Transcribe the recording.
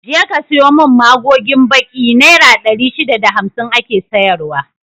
Je ka sayo mun magogin baki, naira ɗari shida da hamsin ake sayar wa